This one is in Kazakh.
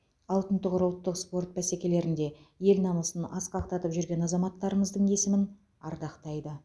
алтын тұғыр ұлттық спорт бәсекелерінде ел намысын асқақтатып жүрген азаматтарымыздың есімін ардақтайды